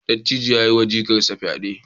Dattijon ya yiwa jikarsa fyade.